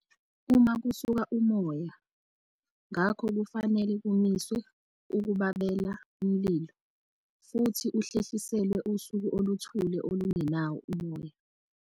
Uma kusuka umoya, ngakho kufanele kumiswe ukubabela umlilo futhi uhlehliselwe usuku oluthule olungenawo umoya.